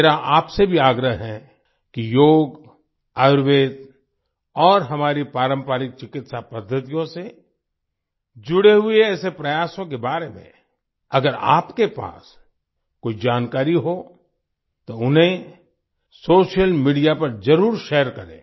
मेरा आपसे भी आग्रह है कि योग आयुर्वेद और हमारी पारंपरिक चिकित्सा पद्धतियों से जुड़े हुए ऐसे प्रयासों के बारे में अगर आपके पास कोई जानकारी हो तो उन्हें सोशल मीडिया पर जरुर शेयर करें